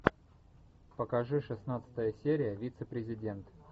покажи шестнадцатая серия вице президент